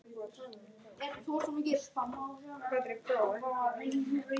Hvað um átta mánaða bann?